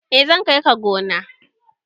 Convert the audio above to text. eh zan kai ka gona